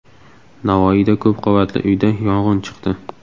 Navoiyda ko‘p qavatli uyda yong‘in chiqdi.